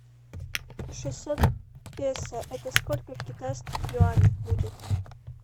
шестьсот песо это сколько в китайских юанях будет